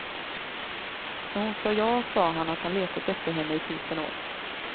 När hon sa ja sa han att han letat efter henne i tusen år.